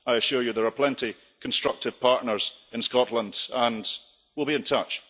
I assure you, there are plenty of constructive partners in Scotland, and we'll be in touch.